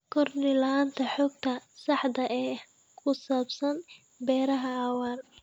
Kordhi la'aanta xogta saxda ah ee ku saabsan beeraha waara.